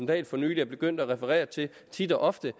dahl for nylig er begyndt at referere til tit og ofte